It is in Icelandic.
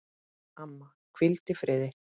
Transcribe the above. Amma, hvíldu í friði.